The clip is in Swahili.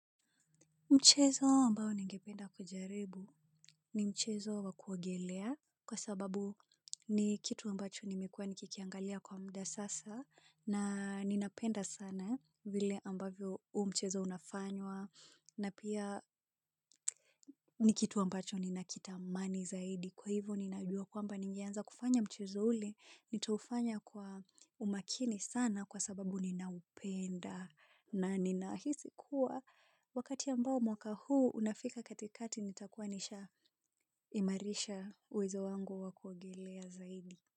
Mchezo ambao ningependa kujaribu ni mchezo wa kuogelea kwa sababu ni kitu ambacho nimekuwa nikikiangalia kwa muda sasa na ninapenda sana vile ambavyo huu mchezo unafanywa na pia ni kitu ambacho ninakitamani zaidi. Kwa hivyo ninaujua kwamba ningeanza kufanya mchezo ule nitaufanya kwa umakini sana kwa sababu ninaupenda na ninahisi kuwa wakati ambao mwaka huu unafika katikati nitakuwa nishaimarisha uwezo wangu wa kuogelea zaidi.